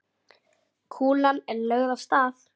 Kúlan er lögð af stað.